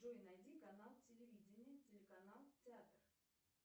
джой найди канал телевидение телеканал театр